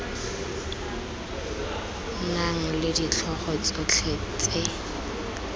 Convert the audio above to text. nang le ditlhogo tsotlhe tse